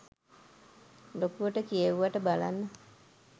ලොකුවට කියෙව්වට බලන්න